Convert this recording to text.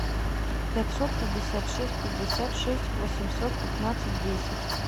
пятьсот пятьдесят шесть пятьдесят шесть восемьсот пятнадцать десять